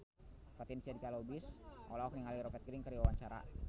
Fatin Shidqia Lubis olohok ningali Rupert Grin keur diwawancara